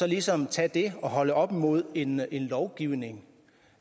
ligesom tage det og holde det op imod en lovgivning